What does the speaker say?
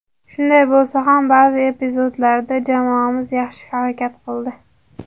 Shunday bo‘lsa ham, ba’zi epizodlarda jamoamiz yaxshi harakat qildi.